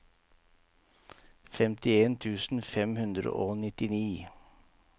femtien tusen fem hundre og nittini